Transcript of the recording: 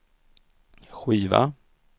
skiva